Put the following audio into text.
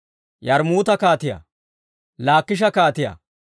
Yarmmuuta kaatiyaa, Laakisha kaatiyaa,